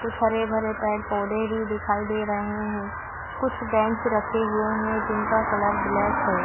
कुछ हरे-भरे पेड़ पौधे भी दिखाई दे रहे है कुछ बेंच रखे हुए है जिनका कलर ब्लैक है।